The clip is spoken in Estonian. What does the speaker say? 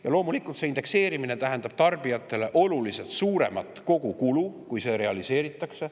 Ja loomulikult see indekseerimine tähendab tarbijatele oluliselt suuremat kogukulu, kui see realiseeritakse.